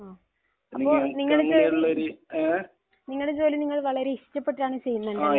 മ്മ്. അപ്പോൾ നിങ്ങൾക്ക് നിങ്ങളുടെ ജോലി വളരെ ഇഷ്ടപ്പെട്ടാണ് ചെയ്യുന്നത്. അല്ലെ?